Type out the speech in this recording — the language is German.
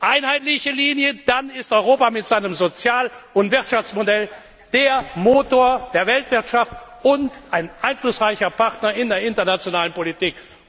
Einheitliche Linie dann ist Europa mit seinem Sozial und Wirtschaftsmodell der Motor der Weltwirtschaft und ein einflussreicher Partner in der internationalen Politik.